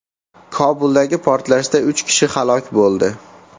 Kobuldagi portlashda uch kishi halok bo‘ldi.